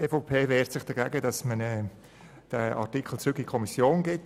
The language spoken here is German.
Die EVP wehrt sich dagegen, den Artikel zurück in die Kommission zu geben.